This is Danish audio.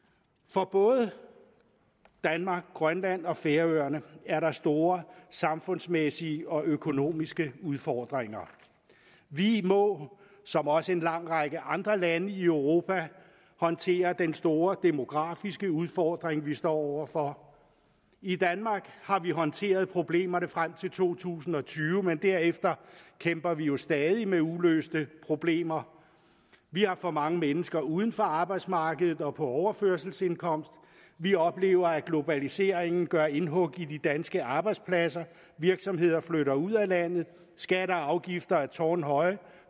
for både danmark grønland og færøerne er der store samfundsmæssige og økonomiske udfordringer vi må som også en lang række andre lande i europa håndtere den store demografiske udfordring vi står over for i danmark har vi håndteret problemerne frem til to tusind og tyve men derefter kæmper vi jo stadig med uløste problemer vi har for mange mennesker uden for arbejdsmarkedet og på overførselsindkomst vi oplever at globaliseringen gør indhug i de danske arbejdspladser virksomheder flytter ud af landet skatter og afgifter er tårnhøje og